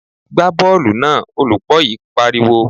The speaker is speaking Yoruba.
Gbá bọ́ọ̀lù náà! Olùkó I pariwo.